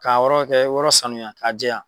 K'a yɔrɔ kɛ yɔrɔ sanuya k'a jɛya.